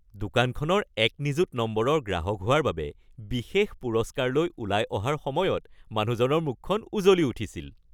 দোকানখনৰ এক নিযুত নম্বৰৰ গ্ৰাহক হোৱাৰ বাবে বিশেষ পুৰস্কাৰ লৈ ওলাই অহাৰ সময়ত মানুহজনৰ মুখখন উজলি উঠিছিল।